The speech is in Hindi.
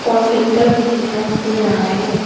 और फिल्टर भी दिखाई दे रहा है।